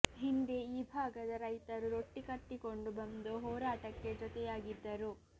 ಹಿಂದೆ ಈ ಭಾಗದ ರೈತರು ರೊಟ್ಟಿ ಕಟ್ಟಿಕೊಂಡು ಬಂದು ಹೋರಾಟಕ್ಕೆ ಜೊತೆಯಾಗಿದ್ದರು